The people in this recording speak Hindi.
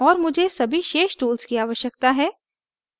और मुझे सभी शेष tools की आवश्यकता है